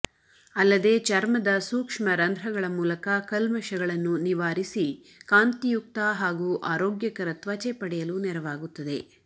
ಅಲ್ಲದೇ ಚರ್ಮದ ಸೂಕ್ಷ್ಮರಂಧ್ರಗಳ ಮೂಲಕ ಕಲ್ಮಶಗಳನ್ನು ನಿವಾರಿಸಿ ಕಾಂತಿಯುಕ್ತ ಹಾಗೂ ಆರೋಗ್ಯಕರ ತ್ವಚೆ ಪಡೆಯಲು ನೆರವಾಗುತ್ತದೆ